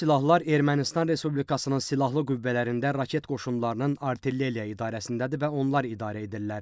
Bu silahlar Ermənistan Respublikasının Silahlı Qüvvələrində, raket qoşunlarının Artilleriya idarəsindədir və onlar idarə edirlər.